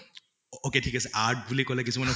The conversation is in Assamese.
okay ঠিক আছে art বুলি কʼলে কিছুমানে